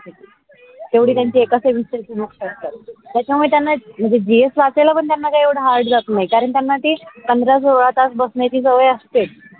तेवडी त्यांची एका सविस्ताची book असतात त्याच्या मूळ त्यांना म्हणजे gs वाचायला पण त्यांना काही येवड hard जात नाही. कारण त्यांना ते पंधरा सोळा तास बसण्याची सवय असते.